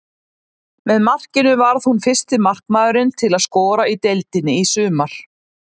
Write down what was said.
Með markinu varð hún fyrsti markmaðurinn til að skora í deildinni í sumar.